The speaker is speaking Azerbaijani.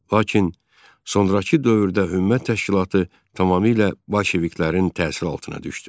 Lakin sonrakı dövrdə Hümmət təşkilatı tamamilə Bolşeviklərin təsiri altına düşdü.